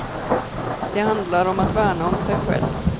Det handlar om att värna om sig själv.